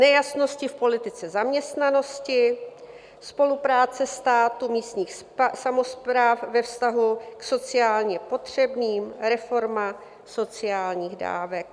Nejasnosti v politice zaměstnanosti, spolupráce státu, místních samospráv ve vztahu k sociálně potřebným, reforma sociálních dávek.